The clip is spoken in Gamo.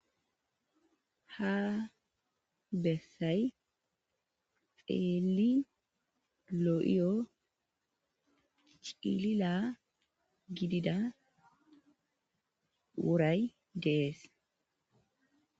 Ha bessay xeeli lo7iyo cilila gidida wuray dees.